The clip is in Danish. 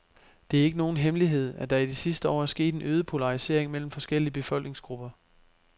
Det er ikke nogen hemmelighed, at der i de sidste år er sket en øget polarisering mellem forskellige befolkningsgrupper.